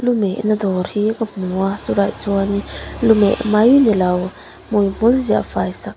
lu mehna dawr hi ka hmu a chulaiah chuan lu meh mai nilo hmuihmul ziahfai sak--